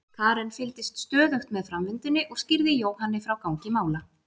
Karen fylgdist stöðugt með framvindunni og skýrði Jóhanni frá gangi mála.